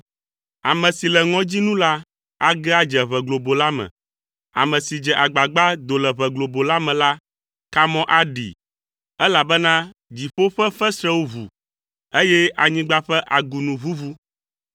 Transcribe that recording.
Ame si le ŋɔdzi nu la age adze ʋe globo la me; ame si dze agbagba do le ʋe globo la me la, kamɔ aɖee, elabena dziƒo ƒe fesrẽwo ʋu, eye anyigba ƒe agunu ʋuʋu.